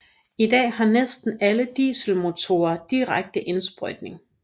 I dag har næsten alle dieselmotorer direkte indsprøjtning